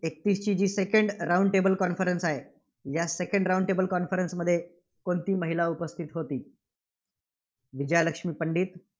एकतीसची second round tabel conference आहे. या second round tabel conference मध्ये कोणती महिला उपस्थिती होती? विजयालक्ष्मी पंडित.